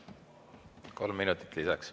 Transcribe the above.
Kolm minutit lisaks.